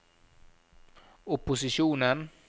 opposisjonen